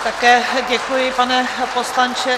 Také děkuji, pane poslanče.